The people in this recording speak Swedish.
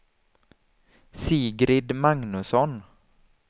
Sigrid Magnusson